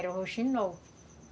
Era o roxinol.